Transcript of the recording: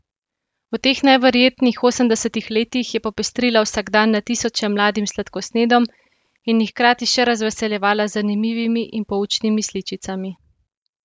V teh neverjetnih osemdesetih letih je popestrila vsakdan na tisoče mladim sladkosnedom in jih hkrati še razveseljevala z zanimivimi in poučnimi sličicami.